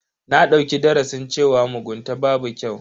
Na dauki darasin cewa mugunta babu kyau.